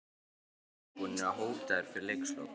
Voru Keflvíkingar eitthvað búnir að hóta þér fyrir leikslok?